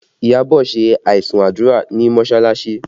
Iyabọ̀ ṣe aisun àdúrà ní mọsalasi